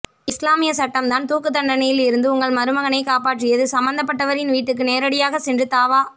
இஸ்லாமிய சட்டம்தான்தூக்குதண்டனையில் இருந்து உங்கள்மருகனை காப்பாற்றியது சம்மந்தபட்டவரின் வீட்டுக்கு நேரடியாக சென்று தாவா